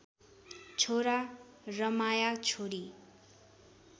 छोरा रमाया छोरी